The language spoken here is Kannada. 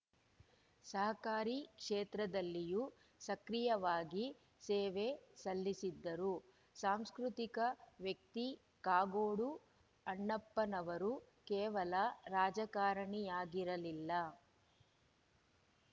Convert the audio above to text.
ಸಹಕಾರಿ ಕ್ಷೇತ್ರದಲ್ಲಿಯೂ ಸಕ್ರಿಯವಾಗಿ ಸೇವೆ ಸಲ್ಲಿಸಿದ್ದರು ಸಾಂಸ್ಕೃತಿಕ ವ್ಯಕ್ತಿ ಕಾಗೋಡು ಅಣ್ಣಪ್ಪನವರು ಕೇವಲ ರಾಜಕಾರಣಿಯಾಗಿರಲಿಲ್ಲ